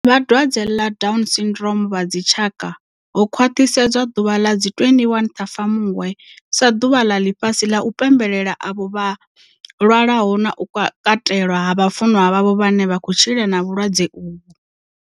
Vha dwadze ḽa Down Syndrome vha dzitshaka ho khwaṱhisedza ḓuvha ḽa 21 ṱhafamuhwe sa ḓuvha ḽa ḽifhasi ḽa u pembelela avho vha lwaho na u katelwa ha vhafunwa vhavho vhane vha khou tshila na vhulwadze uvhu.